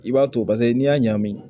I b'a to paseke n'i y'a ɲagami